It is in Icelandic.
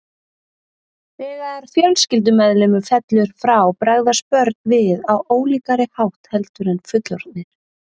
Þegar fjölskyldumeðlimur fellur frá bregðast börn við á ólíkari hátt heldur en fullorðnir.